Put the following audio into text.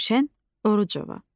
Gülşən Orucova.